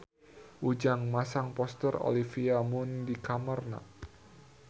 Ujang masang poster Olivia Munn di kamarna